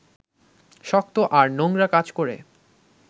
শক্ত আর নোংরা কাজ করে